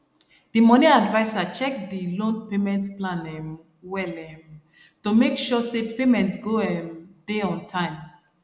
de money adviser check de loan payment plan um well um to make sure say payment go um dey on time